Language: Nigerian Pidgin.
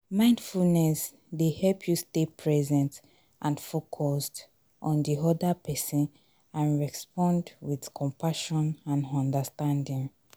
mindfulness dey help you stay present and focused on di oda pesin and respond with compassion and understanding.